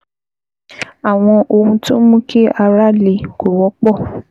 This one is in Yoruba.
Àwọn ohun tó ń mú kí ara le kò wọ́pọ̀